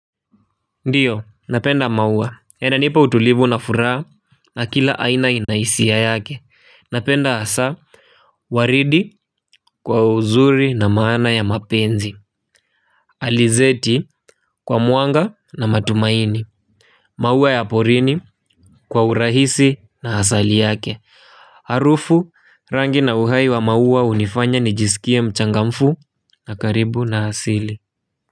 Ndiyo napenda maua yananipa utulivu na furaha na kila aina ina hisia yake napenda hasa waridi kwa uzuri na maana ya mapenzi alizeti kwa muanga na matumaini maua ya porini kwa urahisi na asali yake harufu rangi na uhai wa maua hunifanya nijisikie mchangamfu na karibu na asili.